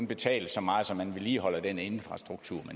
betales så meget så man vedligeholder den infrastruktur